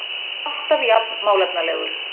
Alltaf jafn málefnalegur.